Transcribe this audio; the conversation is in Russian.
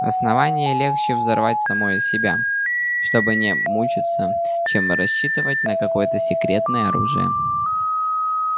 основание легче взорвать самое себя чтобы не мучиться чем рассчитывать на какое-то секретное оружие